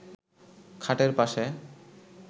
খাটের পাশে